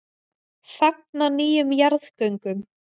Fagna nýjum jarðgöngum